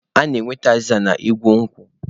A na-enweta azịza n'igu nkwụ.